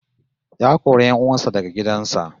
Ya kori 'yan uwan sa daga gidan sa